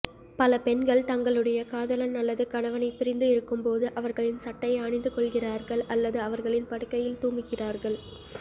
பல பெண்கள் தங்களுடைய காதலன் அல்லது கணவனைப் பிரிந்து இருக்கும்போது அவர்களின் சட்டையை அணிந்துகொள்கிறார்கள் அல்லது அவர்களின் படுக்கையில் தூங்குகிறார்கள்